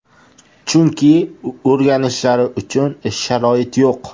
Chunki o‘rganishlari uchun sharoit yo‘q.